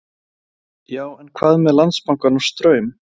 Sindri: Já, en hvað með Landsbankann og Straum?